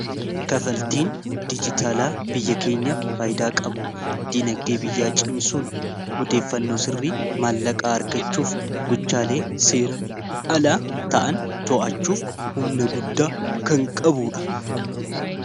kafaltiin dijitaalaa biyya keenya faayidaa qaba diinagdee biyyaa cimsuun odeeffannoo sirri maallaqaa argachuuf guchaalee seera alaa ta'an to'achuuf humna guddaa kan qabuudha